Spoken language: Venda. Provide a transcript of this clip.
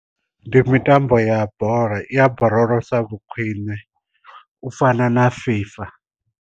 Ndi mitambo ya bola i ya borolosa vhu khwiṋe u fana na fifa.